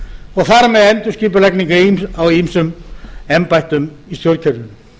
og þar með endurskipulagningu á ýmsum embættum í stjórnkerfinu